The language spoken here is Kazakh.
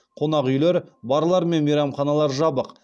қонақүйлер барлар мен мейрамханалар жабық